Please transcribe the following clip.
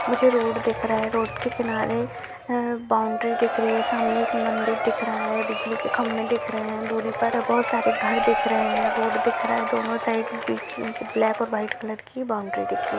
मुझे रोड दिख रहा है रोड के किनारे बाउंड्री दिख रही है सामने एक मंदिर दिख रहा है बिजली के खंभे दिख रहे है दुरी पर बहुत सारे घर दिख रहे है रोड दिख रहा है दोनों साइड बीच में से ब्लैक और वाइट कलर की बाउंड्री दिख रही--